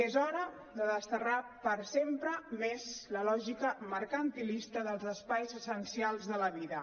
és hora de desterrar per sempre més la lògica mercantilista dels espais essencials de la vida